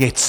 Nic.